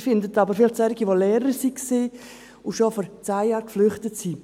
Sie finden aber vielleicht solche, die Lehrer waren und schon vor zehn Jahren geflüchtet sind.